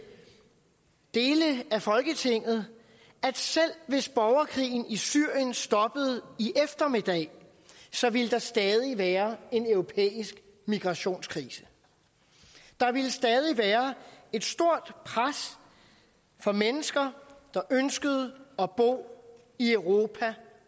dele af folketinget at selv hvis borgerkrigen i syrien stoppede i eftermiddag så ville der stadig være en europæisk migrationskrise der ville stadig være et stort pres fra mennesker der ønsker at bo i europa